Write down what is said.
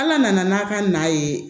Ala nana n'a ka na ye